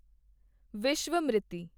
Vishwamitri